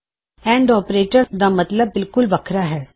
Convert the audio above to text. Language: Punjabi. ਐਨਡ ਆਪਰੇਟਰ ਗਾ ਮਤਲਬ ਬਿਲਕੁਲ ਵੱਖਰਾ ਹੈ